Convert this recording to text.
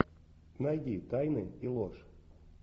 найди тайны и ложь